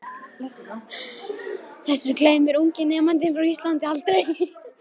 Þessu gleymir ungi nemandinn frá Íslandi aldrei.